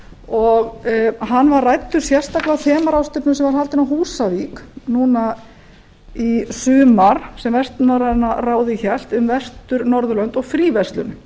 og hann var ræddur sérstaklega á þemaráðstefnu sem var haldin á húsavík núna í sumar sem vestnorræna ráðið hélt um vestur norðurlönd og fríverslun